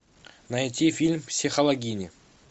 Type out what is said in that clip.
найти фильм психологини